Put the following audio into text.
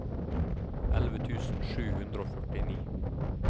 elleve tusen sju hundre og førtini